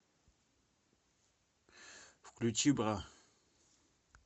включи бра